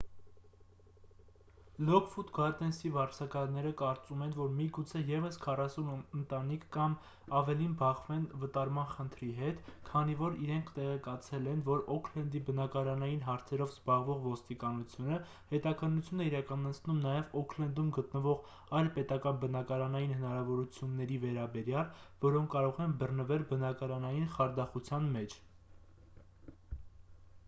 լոքվուդ գարդենսի վարձակալները կարծում են որ միգուցե ևս 40 ընտանիք կամ ավելին բախվեն վտարման խնդրի հետ քանի որ իրենք տեղեկացել են որ օքլենդի բնակարանային հարցերով զբաղվող ոստիկանությունը հետաքննություն է իրականացնում նաև օքլենդում գտնվող այլ պետական բնակարանային հնարավորությունների վերաբերյալ որոնք կարող են բռնվել բնակարանային խարդախության մեջ